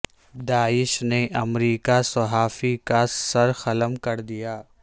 داعش نے امریکہ صحافی کا سر قلم کر دیا